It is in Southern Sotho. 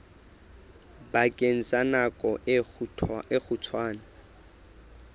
bakeng sa nako e kgutshwane